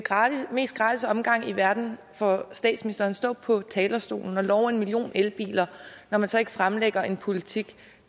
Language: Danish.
mest gratis omgang i verden for statsministeren at stå på talerstolen og love en million elbiler når man så ikke fremlægger en politik